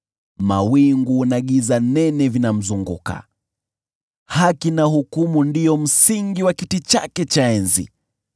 Mawingu na giza nene vinamzunguka, haki na hukumu ndio msingi wa kiti chake cha enzi.